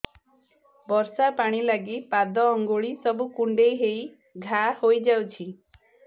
ବର୍ଷା ପାଣି ଲାଗି ପାଦ ଅଙ୍ଗୁଳି ସବୁ କୁଣ୍ଡେଇ ହେଇ ଘା ହୋଇଯାଉଛି